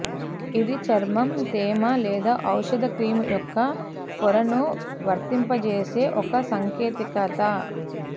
ఇది చర్మం తేమ లేదా ఔషధ క్రీమ్ యొక్క పొరను వర్తింపజేసే ఒక సాంకేతికత